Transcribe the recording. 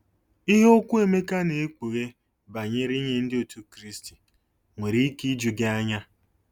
Ihe okwu Emeka na-ekpughe banyere inye Ndị Otù Kristi nwere ike iju gị anya.